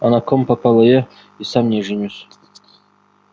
а на ком попало я и сам не женюсь